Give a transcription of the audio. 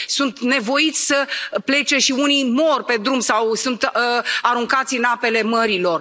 Sunt nevoiți să plece și unii mor pe drum sau sunt aruncați în apele mărilor.